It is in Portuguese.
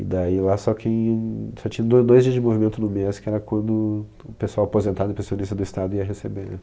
E daí lá só tinham só tinha do dois dias de movimento no mês, que era quando o pessoal aposentado e pensionista estado ia receber.